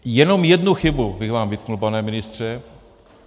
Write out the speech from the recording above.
Jenom jednu chybu bych vám vytkl, pane ministře.